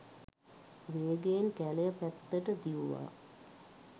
වේගයෙන් කැලය පැත්තට දිව්වා.